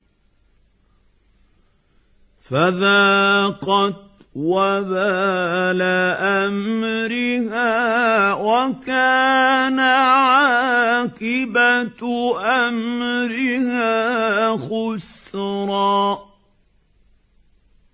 فَذَاقَتْ وَبَالَ أَمْرِهَا وَكَانَ عَاقِبَةُ أَمْرِهَا خُسْرًا